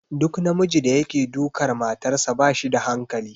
Duk namijin da yake dukar matarsa ba shi da hankali.